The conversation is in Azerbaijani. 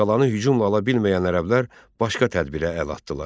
Qalanı hücumla ala bilməyən ərəblər başqa tədbirə əl atdılar.